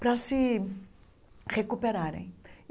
para se recuperarem.